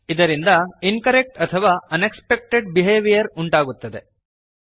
ಇದರಿಂದ ಇನ್ಕರೆಕ್ಟ್ ಅಥವಾ unexpected behaviour ಉಂಟಾಗುತ್ತದೆ